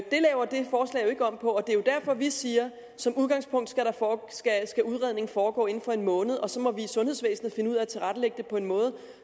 ikke om på og det er derfor vi siger som udgangspunkt skal udredning foregå inden for en måned og så må vi i sundhedsvæsenet finde ud af at tilrettelægge det på en måde